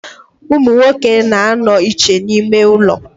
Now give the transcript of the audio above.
Umunwoke na-ano iche n'ime ulo.